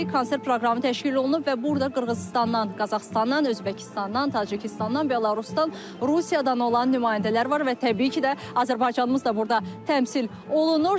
Konsert proqramı təşkil olunub və burda Qırğızıstandan, Qazaxıstandan, Özbəkistandan, Tacikistandan, Belarusdan, Rusiyadan olan nümayəndələr var və təbii ki, də Azərbaycanımız da burda təmsil olunur.